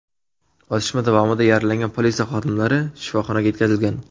Otishma davomida yaralangan politsiya xodimlari shifoxonaga yetkazilgan.